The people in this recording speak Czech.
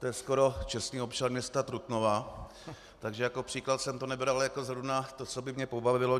To je skoro čestný občan města Trutnova, takže jako příklad jsem to nebral jako zrovna to, co by mě pobavilo.